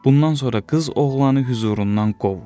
Bundan sonra qız oğlanı hüzurundan qovur.